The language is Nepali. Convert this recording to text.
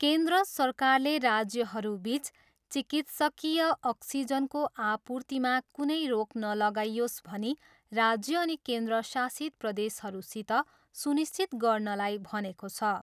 केन्द्र सरकारले राज्यहरूबिच चिकित्सकीय अक्सिजनको आपूर्तिमा कुनै रोक नलगाइयोस् भनी राज्य अनि केन्द्रशासित प्रदेशहरूसित सुनिश्चित गर्नलाई भनेको छ।